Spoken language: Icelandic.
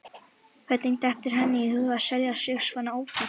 Hvernig dettur henni í hug að selja sig svona ódýrt?